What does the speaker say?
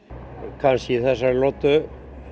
kannski í þessari lotu